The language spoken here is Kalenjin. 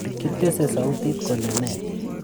Kitese sautit kole ne